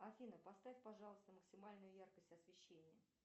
афина поставь пожалуйста максимальную яркость освещения